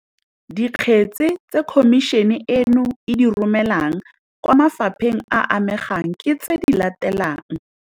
Dikgetse tse Khomišene eno e di romelang kwa mafa pheng a a amegang ke tse di latelang.